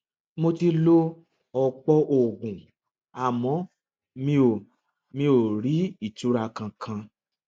mo ti lo ọpọ oògùn àmọ mi ò mi ò rí ìtura kankan